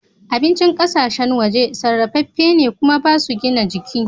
Abincin ƙasashen waje sarrafefe ne kuma ba su gina jiki.